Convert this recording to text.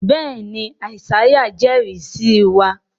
béèni Isaiah ń ijẹrisi sí wá.